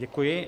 Děkuji.